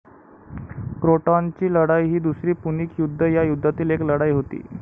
क्रोटॉनची लढाई ही दुसरी पुणिक युद्ध या युद्धातील एक लढाई होती.